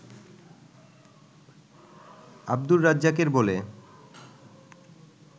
আব্দুর রাজ্জাকের বলে